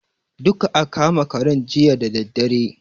Duka aka ma karen jiya da daddare.